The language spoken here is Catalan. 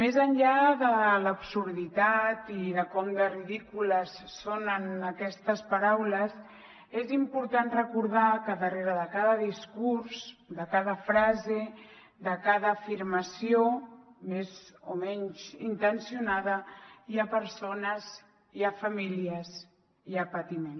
més enllà de l’absurditat i de com de ridícules sonen aquestes paraules és important recordar que darrere de cada discurs de cada frase de cada afirmació més o menys intencionada hi ha persones hi ha famílies hi ha patiment